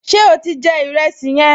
Ṣé o ti jẹ ìrẹsì yẹn?